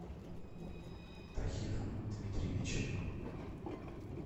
тахиром дмитриевичем